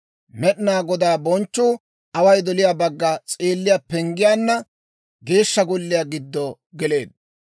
Med'inaa Godaa bonchchuu away doliyaa bagga s'eelliyaa penggiyaanna Geeshsha Golliyaa giddo geleedda.